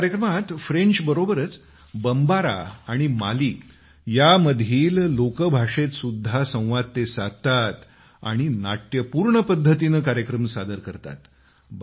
या कार्यक्रमात ते फ्रेंच बरोबरच बमबारा या माली मधील लोकभाषेत सुद्धा संवाद साधतात आणि नाट्यपूर्ण पद्धतीने कार्यक्रम सादर करतात